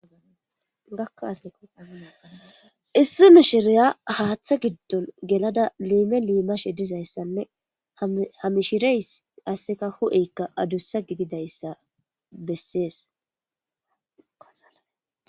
gakkasissi mishiriya haaththa giddon gelada liime liimashe dizayssanne hamishireys asseka hu7eykka adussa gididayssa besseesaa